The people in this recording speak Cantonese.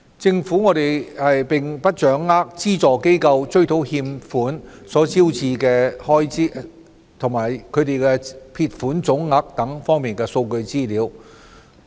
政府並不掌握資助機構追討欠款所招致的開支。或撇帳總額等方面的數據資料。